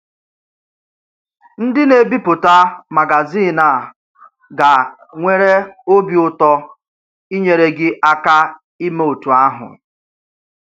Ndí na-ebipụta magazin a gà-nwèrè obi ùtò ínyèrè gị̀ aka ímè otú àhụ̀.